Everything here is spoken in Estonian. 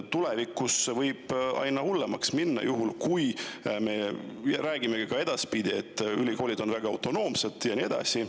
Tulevikus võib see aina hullemaks minna, kui me räägime ka edaspidi, et ülikoolid on väga autonoomsed ja nii edasi.